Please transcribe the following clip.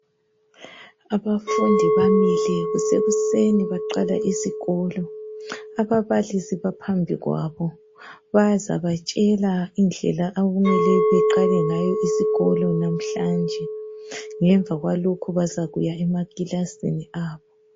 Abafundi bamile kuseni bafuni kiqalisa izikolo. Ababalisi bamile phambi kwabo , bafunukubatshela indlela abamele bahambe ngayo, ngemva kwalokho bazangena emakilasini baqalise izifundo zabo.